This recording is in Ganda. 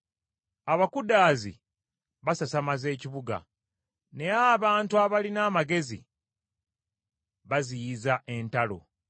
Abakudaazi basasamaza ekibuga, naye abantu abalina amagezi baziyiza entalo.